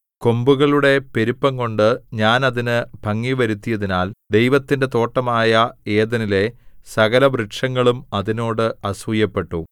കൊമ്പുകളുടെ പെരുപ്പംകൊണ്ട് ഞാൻ അതിന് ഭംഗിവരുത്തിയതിനാൽ ദൈവത്തിന്റെ തോട്ടമായ ഏദെനിലെ സകലവൃക്ഷങ്ങളും അതിനോട് അസൂയപ്പെട്ടു